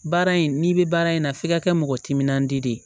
Baara in n'i bɛ baara in na f'i ka kɛ mɔgɔ timinandiya de ye